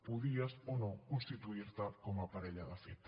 podies o no constituir te com a parella de fet